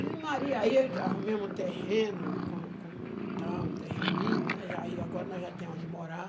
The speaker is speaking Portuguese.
E Maria, aí arrumei um terreno, com a com e tal um terreninho, né, agora nós já temos onde morar,